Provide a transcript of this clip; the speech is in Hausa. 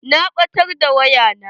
Na ɓatar da waya na.